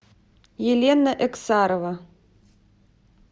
елена эксарова